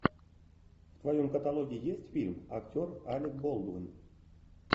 в твоем каталоге есть фильм актер алек болдуин